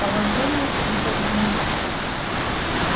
положение круто изменилось